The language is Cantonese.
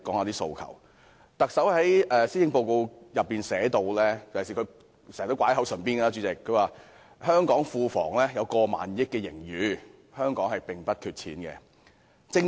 特首在施政報告中提到——而她亦經常說——香港庫房有超過1萬億元盈餘，香港並不缺錢。